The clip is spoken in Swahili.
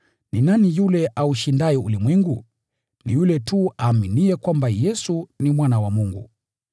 Ni nani yule aushindaye ulimwengu? Ni yule tu aaminiye kwamba Yesu ni Mwana wa Mungu.